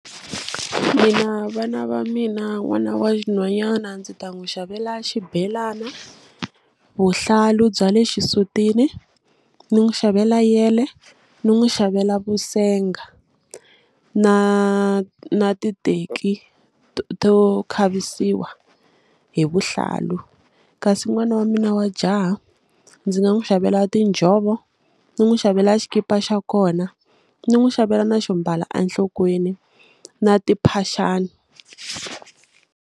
Mina vana va mina n'wana wa nhwanyana ndzi ta n'wi xavela xibelana vuhlalu bya le xisutini ni n'wi xavela yele ni n'wi xavela vusenga na na titeki to khavisiwa hi vuhlalu kasi n'wana wa mina wa jaha ndzi nga n'wi xavela tinjhovo ni n'wu xavela xikipa xa kona ni n'wi xavela na xo mbala a nhlokweni na timphaxani.